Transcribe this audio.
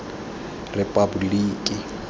repaboliki